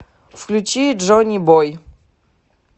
включи джонибой